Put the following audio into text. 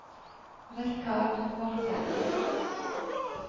Richard Morken